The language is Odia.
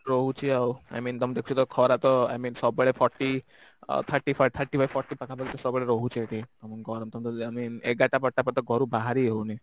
ରହୁଛି ଆଉ I mean ତମେ ଦେଖୁଛ ତ ଖରା ତ I mean ସବୁବେଳେ thirty forty thirty by forty ସବୁବେଳେ ରହୁଚି ଏଠି ଏଗାରଟା ବାରାଟା ଘରୁ ବାହାରି ହଉନି